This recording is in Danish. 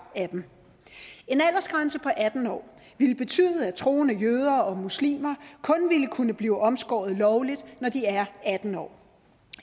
af dem en aldersgrænse på atten år ville betyde at troende jøder og muslimer kun ville kunne blive omskåret lovligt når de er atten år